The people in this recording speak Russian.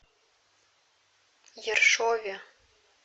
ершове